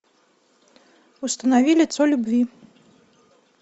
установи лицо любви